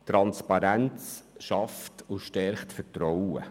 Transparenz schafft und stärkt das Vertrauen.